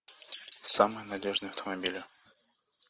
самые надежные автомобили